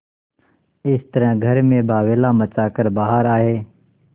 इस तरह घर में बावैला मचा कर बाहर आये